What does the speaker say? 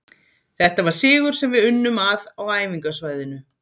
Þetta var sigur sem við unnum að á æfingasvæðinu